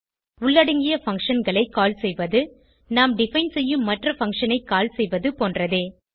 உள்ளடங்கிய functionகளை கால் செய்வது நாம் டிஃபைன் செய்யும் மற்ற பக்ஷன் ஐ கால் செய்வது போன்றதே